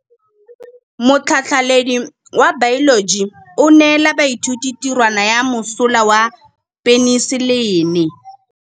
Motlhatlhaledi wa baeloji o neela baithuti tirwana ya mosola wa peniselene.